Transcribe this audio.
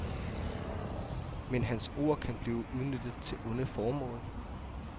Men hans ord kan blive udnyttet til onde formål.